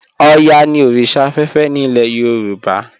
Ọ̀yá ni oríṣà afẹ́fẹ́ ni ilẹ̀ Yorùbá.